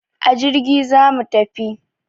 A jirgi zamu tafi